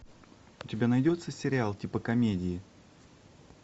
у тебя найдется сериал типа комедии